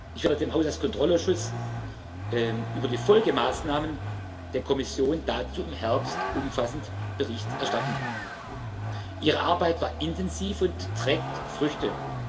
Ich werde dem Haushaltskontrollausschuss über die Folgemaßnahmen der Kommission dazu im Herbst umfassend Bericht erstatten. Ihre Arbeit war intensiv und trägt Früchte.